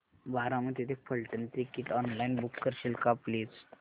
बारामती ते Phaltan ticket online book करशील का प्लीज